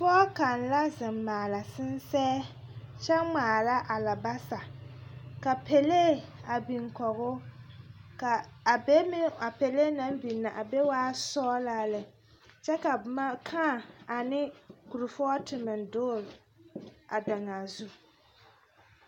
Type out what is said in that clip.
pɔge kaŋ la zeŋ maala sensɛ. kyɛ ŋmaara alabasa ka pelee a biŋ kɔge o ka be meŋ a pelee naŋ biŋ na a be waa sɔgelaa lɛ kyɛ ka boma, kãã ane korfɔɔte meŋ dogele daŋaa zu.